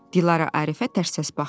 Dilarə Arifə tərs-tərs baxdı.